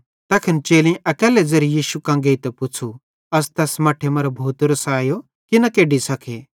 तैखन चेलेईं अकैल्ले ज़ेरे यीशु कां गेइतां पुच़्छ़ू अस तैस मट्ठे मरां भूतेरो सायो की न केड्डी सके